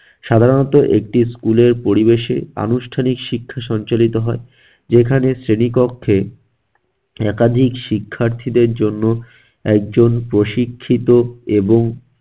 সাধারণত একটি school এর পরিবেশে আনুষ্ঠানিক শিক্ষা সঞ্চালিত হয়, যেখানে শ্রেণিকক্ষে একাধিক শিক্ষার্থীদের জন্য একজন প্রশিক্ষিত এবং